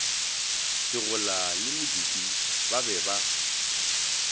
segola le modupi ba be